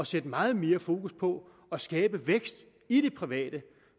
sætte meget mere fokus på at skabe vækst i det private